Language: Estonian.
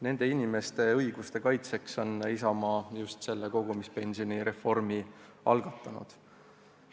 Nende inimeste õiguste kaitseks ongi Isamaa selle kogumispensionireformi algatanud.